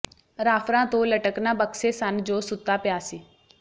ਰਾਫਰਾਂ ਤੋਂ ਲਟਕਣਾ ਬਕਸੇ ਸਨ ਜੋ ਸੁੱਤਾ ਪਿਆ ਸੀ